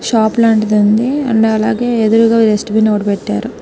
shop లాంటిది ఉంది and అలాగే ఎదురుగా డస్ట్ బిన్ పెట్టారు